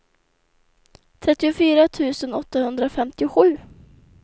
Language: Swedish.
trettiofyra tusen åttahundrafemtiosju